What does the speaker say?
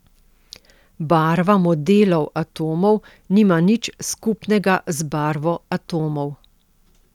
Barva modelov atomov nima nič skupnega z barvo atomov.